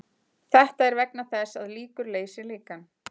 Þetta er vegna þess að líkur leysir líkan.